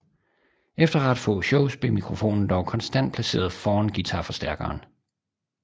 Efter ret få shows blev mikrofonen dog konstant placeret foran guitarforstærkeren